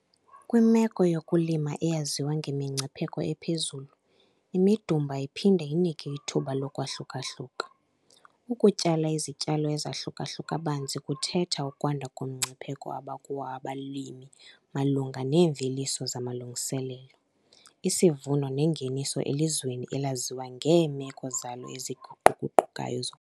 Kwimeko yokulima eyaziwa ngemingcipheko ephezulu, imidumba iphinda inike ithuba lokwahluka-hluka. Ukutyala izityalo ezahluka-hluka banzi kuthetha ukwanda komngcipheko abakuwo abalimi malunga neemveliso zamalungiselelo, isivuno nengeniso elizweni elaziwa ngeemeko zalo eziguqu-guqukayo zokufama.